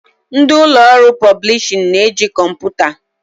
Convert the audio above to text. Ndị ụlọ ọrụ pọblishin na eji kọmputa